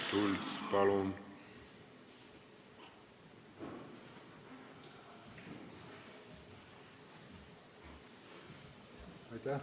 Märt Sults, palun!